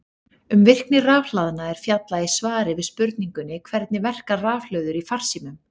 Um virkni rafhlaðna er fjallað í svari við spurningunni Hvernig verka rafhlöður í farsímum?